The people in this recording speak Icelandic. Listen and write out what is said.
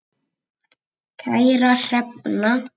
Kæra Hrefna.